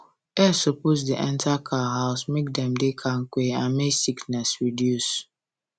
air supppose da enter cow house make dem da kampe and make sickness reduce